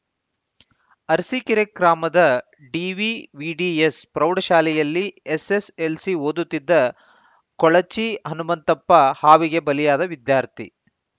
ಅರಸೀಕೆರೆ ಗ್ರಾಮದ ಡಿವಿವಿಡಿಎಸ್‌ ಪ್ರೌಢಶಾಲೆಯಲ್ಲಿ ಎಸ್‌ಎಸ್‌ಎಲ್‌ಸಿ ಓದುತ್ತಿದ್ದ ಕೊಳಚಿ ಹನುಮಂತಪ್ಪ ಹಾವಿಗೆ ಬಲಿಯಾದ ವಿದ್ಯಾರ್ಥಿ